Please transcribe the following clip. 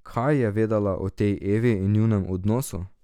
Kaj je vedela o tej Evi in njunem odnosu?